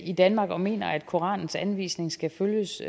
i danmark der mener at koranens anvisning skal følges